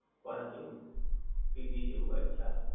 કોના જેવું? સ્વીગી જેવું આચ્છા.